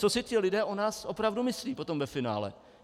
Co si ti lidé o nás opravdu myslí potom ve finále?